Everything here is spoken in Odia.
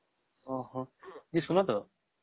ଓ ହୋ ଏଇ ଶୁଣ ତ